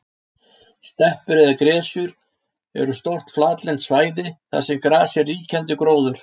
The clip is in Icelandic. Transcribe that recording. Steppur eða gresjur eru stór flatlend svæði þar sem gras er ríkjandi gróður.